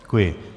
Děkuji.